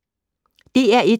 DR1